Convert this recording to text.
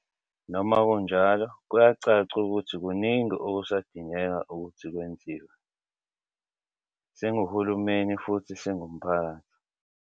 Noma kunjalo, kuyacaca ukuthi kuningi okusadingeka ukuthi kwenziwe, singuhulumeni futhi singumphakathi.